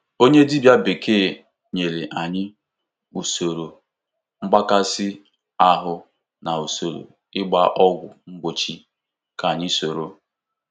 Onye dibịa bekee nyere anyị usoro mgbakasị ahụ na usoro ịgba ọgwụ mgbochi ka anyị soro.